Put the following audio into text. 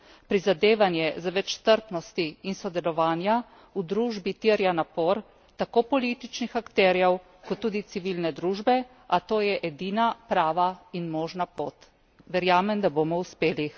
Prizadevanje za več strpnosti in sodelovanja v družbi terja napor tako političnih akterjev kot tudi civilne družbe, a to je edina prava in možna pot. Verjamem, da bomo uspeli.